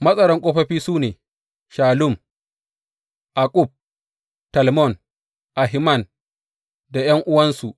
Matsaran ƙofofi su ne, Shallum, Akkub, Talmon, Ahiman da ’yan’uwansu.